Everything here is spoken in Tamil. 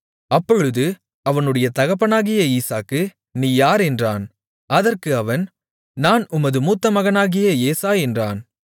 அப்பொழுது அவனுடைய தகப்பனாகிய ஈசாக்கு நீ யார் என்றான் அதற்கு அவன் நான் உமது மூத்த மகனாகிய ஏசா என்றான்